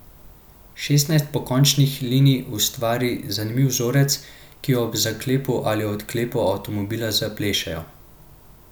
Šestnajst pokončnih linij ustvari zanimiv vzorec, ki ob zaklepu ali odklepu avtomobila zaplešejo.